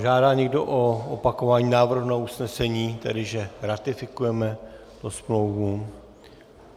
Žádá někdo o opakování návrhu na usnesení, tedy že ratifikujeme tu smlouvu?